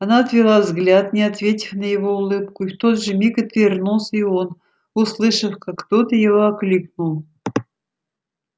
она отвела взгляд не ответив на его улыбку и в тот же миг отвернулся и он услышав как кто-то его окликнул